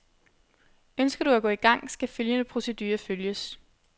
Ønsker du at gå i gang, skal følgende procedure følges.